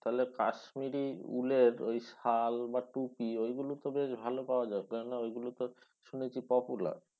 তাহলে কাশ্মিরি উলের শাল বা টুপি ওইগুলো তো বেশ ভালো পাওয়া যাবে কেনও না ওইগুলো তো শুনেছি popular